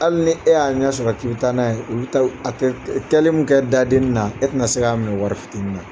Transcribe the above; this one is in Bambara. Hali ni e y'a ɲa sɔrɔ k'i b'i taa n'a ye, olu ta a tɛ kɛli min kɛ dadenni na e tɛna se k'a minɛ wari fitini na.